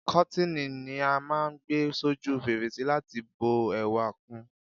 Kọ́tíni ni á máà ń gbé s'óju fèrèsé láti bu ẹwà kun